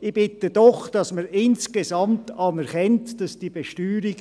Ich bitte doch, dass man insgesamt anerkennt, dass die Besteuerung